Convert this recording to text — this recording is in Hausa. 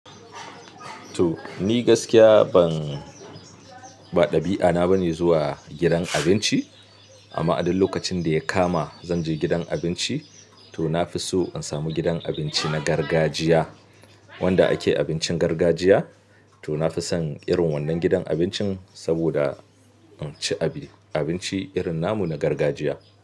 To, ni gaskiya ban, ba ɗabi'ana bane zuwa gidan abinci. Amma a ɗuk lokacin da ya kama zan je gidan abinci, to na fi so in samu gidan abinci na gargajiya, wanda ake abincin gargajiya. To na fi son irin wannan gidan abincin saboda in ci abi, abinci irin namu na gargajiya.